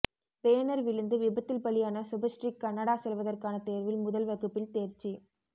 banner விழுந்து விபத்தில் பலியான சுபஸ்ரீ கனடா செல்வதற்கான தேர்வில் முதல் வகுப்பில் தேர்ச்சி